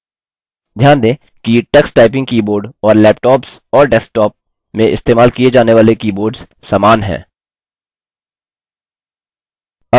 ध्यान दें कि टक्स टाइपिंग कीबोर्ड और लैपटॉप्स और डेस्कटॉप में इस्तेमाल किये जाने वाले कीबोर्ड्स समान हैं